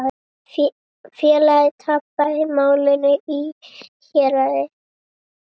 Félagið tapaði málinu í héraði.